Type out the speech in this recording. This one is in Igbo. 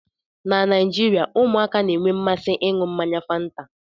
Na Naijirịa, ụmụaka na-enwe mmasị ịñu mmanya fanta